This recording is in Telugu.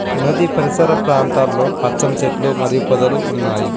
నది పరిసర ప్రాంతాల్లో పచ్చని చెట్లు మరియు పదవులు ఉన్నాయి.